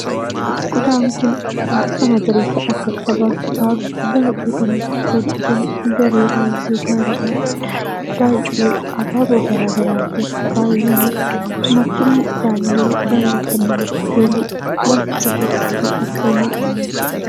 Kutaan kun bifa magariisa akka qabaatuudhaaf baay'ee kan irratti hojjetame daree baay'ee gaariidhaaf, daree baay'ee habaaboo garaa garaatiin faayamedha. Marcumni isaallee baay'ee kan namatti tolu, kilaasicha keessatti kan argamudha.